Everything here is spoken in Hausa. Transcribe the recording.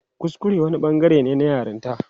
Kuskure wani bangare ne na yaranta.